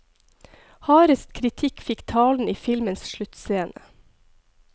Hardest kritikk fikk talen i filmens sluttscene.